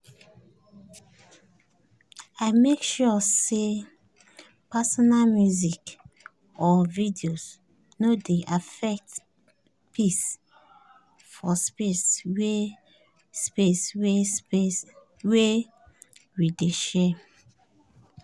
i make sure say personal music or videos no dey affect peace for space wey space wey we dey share